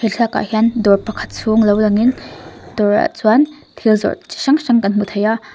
thlalak ah hian dawr pakhat chhung lo lang in dawr ah chuan thil zawrh chi hrang hrang kan hmu thei a.